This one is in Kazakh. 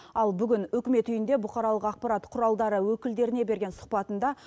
ал бүгін үкімет үйінде бұқаралық ақпарат құралдары өкілдеріне берген сұхбатында